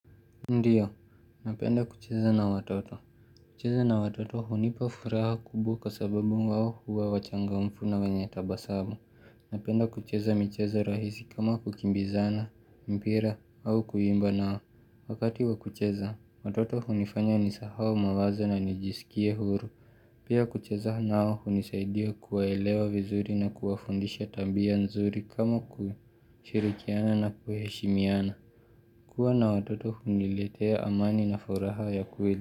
Ndiyo, napenda kucheza na watoto. Kucheza na watoto hunipa furaha kubwa kwa sababu wao huwa wachangamfu na wenye tabasabu. Napenda kucheza michezo rahisi kama kukimbizana, mpira au kuimba na wakati wa kucheza, watoto hunifanya nisahau mawazo na nijisikie huru. Pia kucheza nao hunisaidia kuwaelewa vizuri na kuwafundisha tabia nzuri kama kushirikiana na kuheshimiana. Kuwa na watoto huniletea amani na furaha ya kweli.